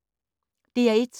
DR1